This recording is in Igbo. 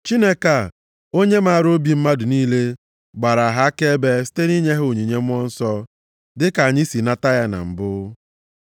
Chineke a, onye maara obi mmadụ niile gbaara ha akaebe site nʼinye ha onyinye Mmụọ Nsọ dịka anyị si nata ya na mbụ.